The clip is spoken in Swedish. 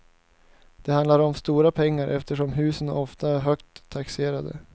Det handlar om stora pengar eftersom husen oftast är högt taxerade.